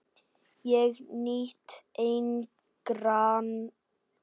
Ég nýt engrar hylli hennar!